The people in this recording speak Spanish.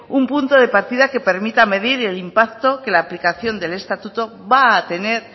un punto de partida que permita medir el impacto que la aplicación del estatuto va a tener